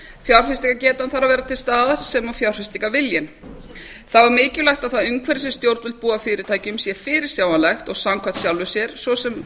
áhættu fjárfestingargetan þarf að vera til staðar og fjárfestingarviljinn þá er mjög mikilvægt að það umhverfi sem stjórnvöld búa fyrirtækjum sé fyrirsjáanlegt og samkvæmt sjálfu sér svo sem